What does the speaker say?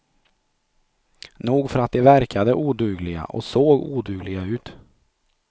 Nog för att de verkade odugliga och såg odugliga ut.